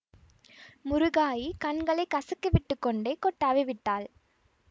முருகாயி கண்களை கசக்கிவிட்டுக் கொண்டே கொட்டாவி விட்டாள்